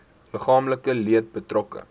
liggaamlike leed betrokke